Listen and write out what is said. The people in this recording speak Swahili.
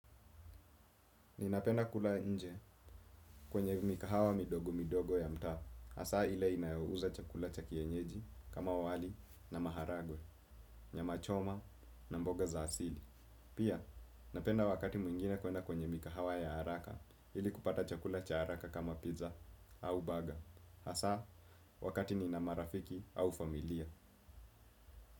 Ninapenda kula nje kwenye mikahawa midogo midogo ya mtaa, hasa ile inayouza chakula cha kienyeji kama wali na maharagwe, nyama choma na mboga za asili. Pia, napenda wakati mwingine kwenye mikahawa ya haraka ili kupata chakula cha haraka kama pizza au baga, hasa wakati ninamarafiki au familia.